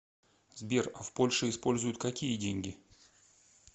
сбер а в польше используют какие деньги